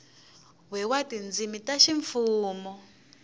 we wa tindzimi ta ximfumu